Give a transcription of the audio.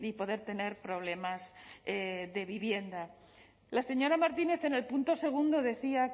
poder tener problemas de vivienda la señora martínez en el punto segundo decía